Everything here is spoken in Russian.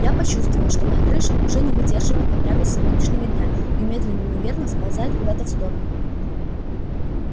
я почувствовала что моя крыша уже не выдерживает напряга сегодняшнего дня и медленно но верно сползает куда-то в сторону